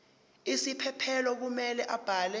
isiphephelo kumele abhale